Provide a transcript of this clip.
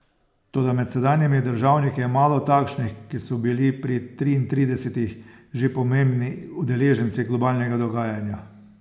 Toda med sedanjimi državniki je malo takšnih, ki so bili pri triintridesetih že pomembni udeleženci globalnega dogajanja.